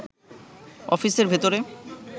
অফিসের ভেতরে